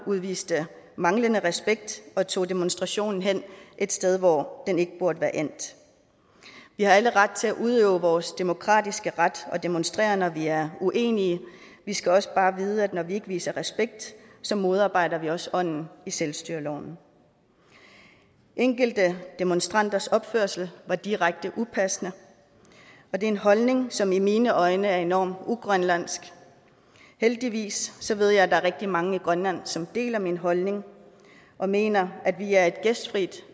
udviste manglende respekt og tog demonstrationen hen et sted hvor den ikke burde være endt vi har alle ret til at udøve vores demokratiske ret og til at demonstrere når vi er uenige vi skal også bare vide at når vi ikke viser respekt så modarbejder vi også ånden i selvstyreloven enkelte demonstranters opførsel var direkte upassende og det er en holdning som i mine øjne er enormt ugrønlandsk heldigvis ved jeg at der er rigtig mange i grønland som deler min holdning og mener at vi er et gæstfrit